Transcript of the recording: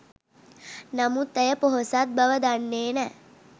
නමුත් ඇය පොහොසත් බව දන්නේ නෑ